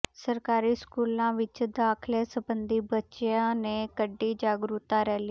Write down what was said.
ਸਰਕਾਰੀ ਸਕੂਲਾਂ ਵਿਚ ਦਾਖ਼ਲੇ ਸਬੰਧੀ ਬੱਚਿਆਂ ਨੇ ਕੱਢੀ ਜਾਗਰੂਕਤਾ ਰੈਲੀ